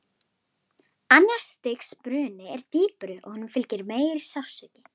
Annars stigs bruni er dýpri og honum fylgir meiri sársauki.